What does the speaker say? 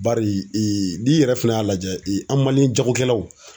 Bari n'i yɛrɛ fɛnɛ y'a lajɛ, an jagokɛlaw